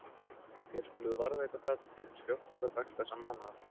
Og þér skuluð varðveita það til hins fjórtánda dags þessa mánaðar.